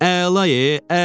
Əla, əla.